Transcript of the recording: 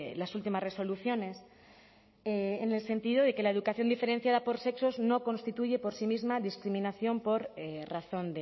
las últimas resoluciones en el sentido de que la educación diferenciada por sexos no constituye por sí misma discriminación por razón